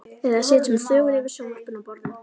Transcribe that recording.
Eða sitjum þögul yfir sjónvarpinu og borðum.